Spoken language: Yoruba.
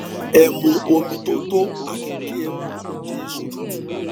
ẹ mu omi tó tó àti kí ẹ mu oje èso tútù